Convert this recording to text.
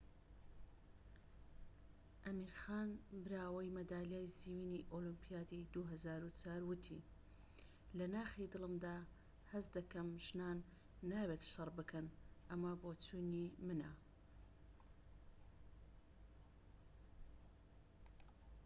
ئەمیر خان براوەی مەدالیای زیوینی ئۆلۆمبیادی ٢٠٠٤، وتی لە ناخی دڵمدا هەست دەکەم ژنان نابێت شەڕ بکەن. ئەمە بۆچوونی منە."